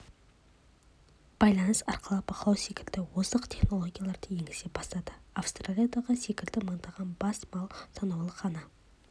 байланыс арқылы бақылау секілді озық технологияларды енгізе бастады австралиядағы секілді мыңдаған бас малды санаулы ғана